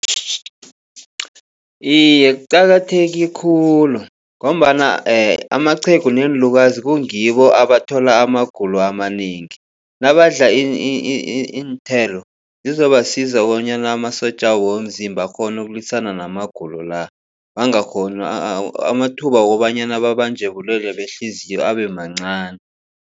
Iye, kuqakatheke khulu ngombana amaqhegu neenlukazi kungibo abathola amagulo amanengi. Nabadla iinthelo zizobasiza bonyana amasotjabo womzimba akghone ukulwisana namagulo la. Amathuba wokobanyana babanjwe bulwele behliziyo abe mancani.